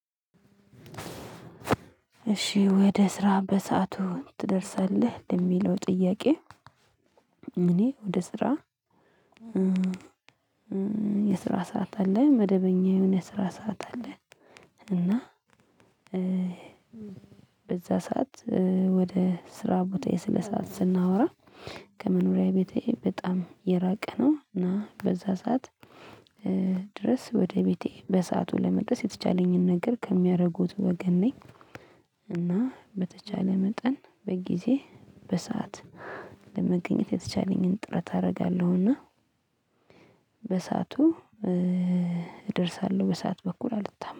እሺ ወደ ስራ በሰአቱ ትደርሳለህ ለሚለው ጥያቄ? እኔ ወደ ስራ የስራ ሰዓት አለኝ መደበኛውን የሆነ ስራ ሰዓት አለኝ። እና በዛ ሰዓት ወደ ስራ ቦታ የስለ ሰዓት ስናወራ ከመኖሪያዬ ቤቴ በጣም የራቀ ነው። እና በዛ ሰዓት ድረስ ወደ ቤቴ በሰአቱ ለመድረስ የተቻለኝን ነገር ከሚያደርጉት ወገን ነኝ። እና በተቻለ መጠን በጊዜ በሰአት ለመገኘት የተቻለኝን ጥረት አደርጋለሁና። በሰአቱ እደርሳለሁ በሰአት በኩል አልታማም